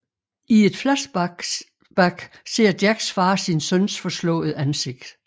I et flashback ser Jacks far sin søns forslåede ansigt